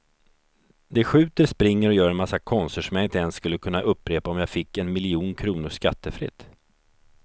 De skjuter, springer och gör en massa konster som jag inte ens skulle kunna upprepa om jag fick en miljon kronor skattefritt.